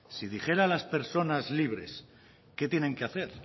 si dijera a las personas libres qué tienen que hacer